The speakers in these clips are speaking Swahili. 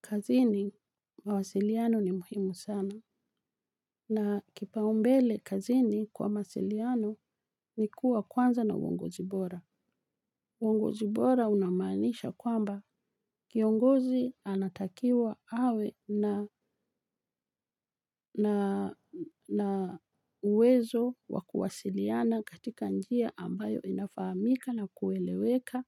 Kazini, mawasiliano ni muhimu sana. Na kipaumbele kazini kwa mawasiliano ni kuwa kwanza na uongozi bora. Uongozi bora unamaanisha kwamba kiongozi anatakiwa awe na uwezo wa kuwasiliana katika njia ambayo inafahamika na kueleweka.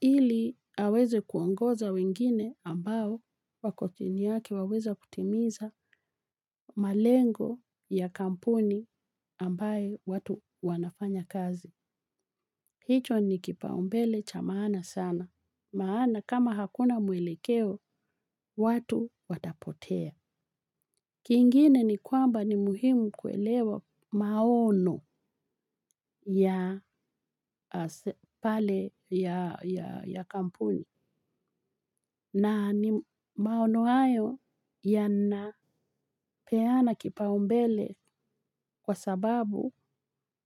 Ili aweze kuongoza wengine ambao wako chini yaki waweze kutimiza malengo ya kampuni ambaye watu wanafanya kazi. Hicho ni kipaumbele cha maana sana. Maana kama hakuna mwelekeo, watu watapotea. Kingine ni kwamba ni muhimu kuelewa maono ya pale ya kampuni. Na ni maono hayo yanapeana kipaumbele kwa sababu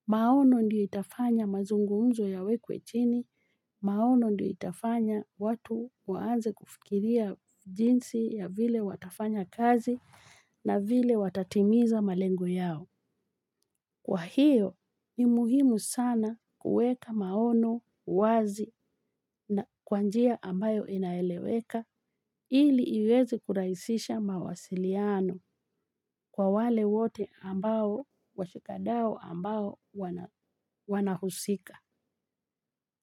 maono ndio itafanya mazungumzo yawekwe chini, maono ndiyo itafanya watu waanze kufikiria jinsi ya vile watafanya kazi na vile watatimiza malengo yao. Kwa hiyo ni muhimu sana kuweka maono wazi na kwa njia ambayo inaeleweka ili iweze kurahisisha mawasiliano kwa wale wote ambao washikadau ambao wanahusika.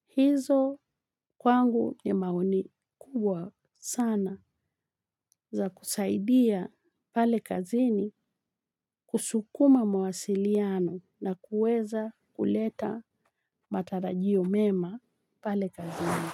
Hizo kwangu ni maoni kubwa sana za kusaidia pale kazini kusukuma mawasiliano na kuweza kuleta matarajio mema pale kazini.